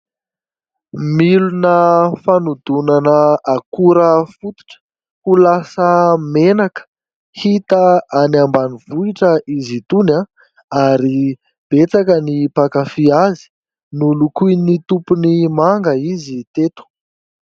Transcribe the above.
Milina fanodinana akora fototra ho lasa menaka, hita any ambanivohitra izy itony ary betsaka ny mpankafy azy. Nolokoin'ny tompony manga izy teto.